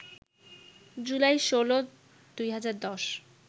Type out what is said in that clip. July ১৬, ২০১০